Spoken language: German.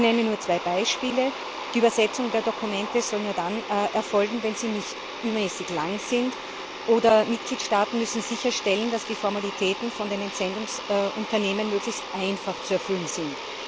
Ich nenne nur zwei Beispiele Die Übersetzung der Dokumente soll nur dann erfolgen, wenn sie nicht übermäßig lang sind, oder Mitgliedstaaten müssen sicherstellen, dass die Formalitäten von den Entsendungsunternehmen möglichst einfach zu erfüllen sind.